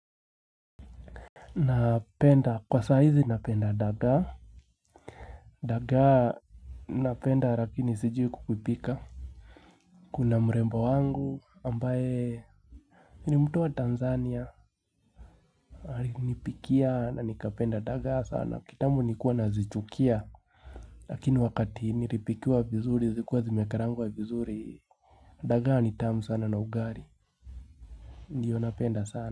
Napenda kwa saa hizi napenda dagaa. Dagaa napenda lakini sijui kukipika kuna mrembo wangu ambaye ni mtu wa Tanzania alinipikia na nikapenda dagaa sana kitambo nilikuwa nazichukia lakini wakati nilipikiwa vizuri zikuwa zimekarangwa vizuri dagaa anitamu sana na ugali ndiyo napenda sana.